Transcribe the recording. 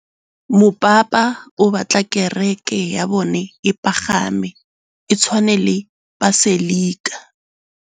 Mopapa o batla kereke ya bone e pagame, e tshwane le paselika.